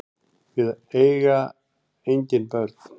Við eiga engin börn.